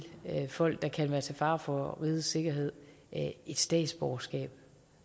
folk der kan være til fare for rigets sikkerhed et statsborgerskab